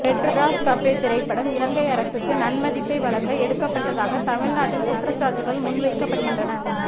Madras cafe திரைப்படம் இலங்கை அரசுக்கு நன்மதிப்பை வழங்க எடுக்கப்பட்டதாக தமிழ்நாட்டில் குற்றச்சாட்டுக்கள் முன்வைக்கப்படுகின்றன